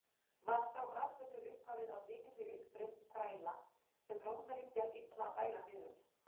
Var sá atburður upphafið að mikilli uppreisn þræla, sem Rómverjum gekk illa að bæla niður.